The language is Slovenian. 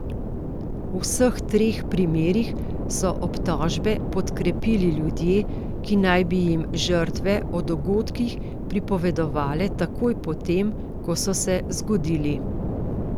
V vseh treh primerih so obtožbe podkrepili ljudje, ki naj bi jim žrtve o dogodkih pripovedovale takoj po tem, ko so se zgodili.